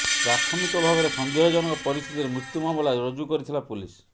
ପ୍ରାଥମିକ ଭାବରେ ସନ୍ଦେହ ଜନକ ପରିସ୍ଥିତିରେ ମୃତ୍ୟୁ ମାମଲା ରୁଜୁ କରିଥିଲା ପୁଲିସ୍